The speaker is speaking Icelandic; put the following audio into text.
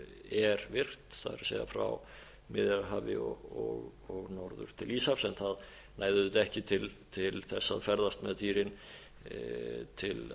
er virt það er frá miðjarðarhafi og norður til íshafs það nær auðvitað ekki til þess að ferðast með dýrin til